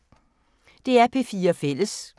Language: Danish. DR P4 Fælles